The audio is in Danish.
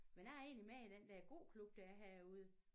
Men jeg er egentlig med i den der gåklub der er herude